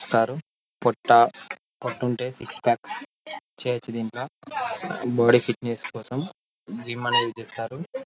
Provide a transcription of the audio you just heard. పొట్ట పోతుంటే six pack చెయ్యొచ్చు దింట్లో బాడీ ఫిట్నెస్ కోసం జిమ్ అనేది చేస్తారు .